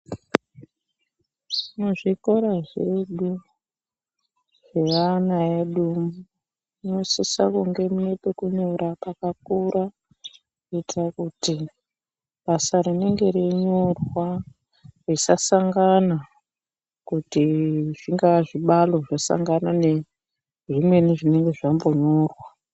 Muzvikora zvedu zveana edu munosisa kunge mune pekunyora pakakura kuitira kuti basa rinenge reinyorwa risasangana kuti zvingaa zvibalo zvasangana nezvimweni zvinenge zvambonyorwa.